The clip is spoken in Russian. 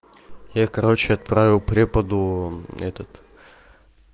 я короче отправил преподу этот